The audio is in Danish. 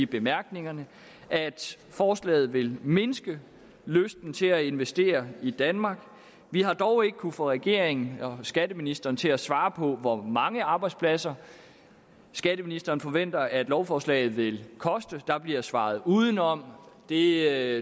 bemærkninger at forslaget vil mindske lysten til at investere i danmark vi har dog ikke kunnet få regeringen og skatteministeren til at svare på hvor mange arbejdspladser skatteministeren forventer at lovforslaget vil koste der bliver svaret udenom det er